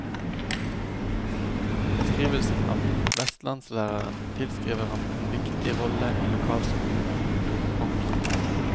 Beskrivelsen av vestlandslæreren tilskriver ham en viktig rolle i lokalsamfunnet. punktum